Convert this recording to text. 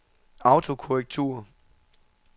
autokorrektur